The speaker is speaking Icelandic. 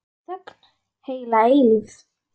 Henni finnst vera þögn heila eilífð.